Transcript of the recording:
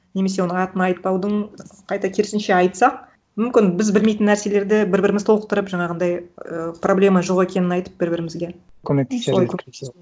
немесе оның атын айтпаудың қайта керісінше айтсақ мүмкін біз білмейтін нәрселерді бір біріміз толықтырып жаңағындай ы проблема жоқ екенін айтып бір бірімізге көмектесер